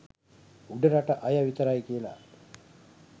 උඩරට අය විතරයි කියලා.